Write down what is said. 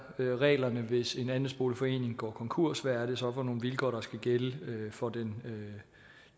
reglerne hvis en andelsboligforening går konkurs hvad er det så for nogle vilkår der skal gælde for den